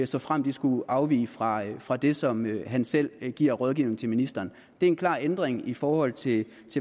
såfremt de skulle afvige fra fra det som han selv giver af rådgivning til ministeren det er en klar ændring i forhold til